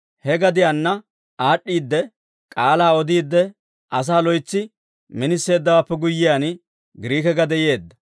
He gadiyaanna aad'd'iidde, k'aalaa odiide, asaa loytsi miniseeddawaappe guyyiyaan, Giriike gade yeedda.